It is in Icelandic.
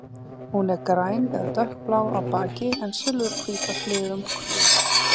Hún er græn eða dökkblá á baki en silfurhvít á hliðum og kvið.